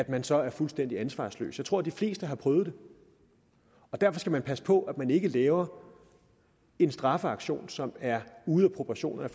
man så fuldstændig ansvarsløs jeg tror de fleste har prøvet det derfor skal man passe på at man ikke laver en straffeaktion som er ude af proportion med